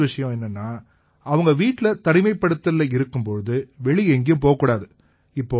ரெண்டாவது விஷயம் என்னென்னா அவங்க வீட்டில தனிமைப்படுத்தல்ல இருக்கும் போது வெளிய எங்கயும் போகக்கூடாது